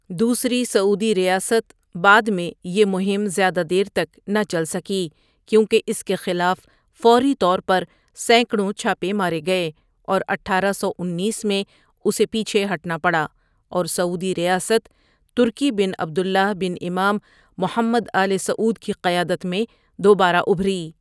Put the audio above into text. دوسری سعودی ریاست بعد میں یہ مہم زیادہ دیر تک نہ چل سکی کیونکہ اس کے خلاف فوری طور پر سینکڑوں چھاپے مارے گئے اور اٹھارہ سو انیس میں اسے پیچھے ہٹنا پڑا اور سعودی ریاست ترکی بن عبداللہ بن امام محمد آلِ سعود کی قیادت میں دوبارہ ابھری۔